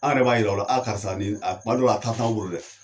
An yɛrɛ b'a yira o la, karisa ni kuma dɔw la a t'anw bolo dɛ